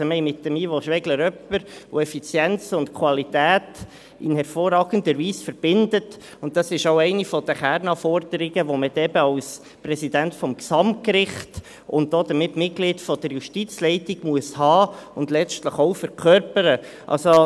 Wir haben mit Ivo Schwegler jemanden, der Effizienz und Qualität in hervorragender Weise verbindet, und das ist auch eine der Kernanforderungen, die man dort als Präsident des Gesamtgerichts und damit Mitglied der Justizleitung haben und letztlich auch verkörpern muss.